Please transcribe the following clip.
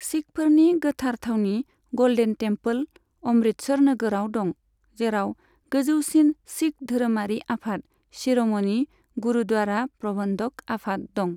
सिखफोरनि गोथार थावनि, golden temple, Amritsar नोगोराव दं, जेराव गोजौसिन सिख धोरोमारि आफाद शिर'मणि गुरुद्वारा प्रबन्धक आफाद दं।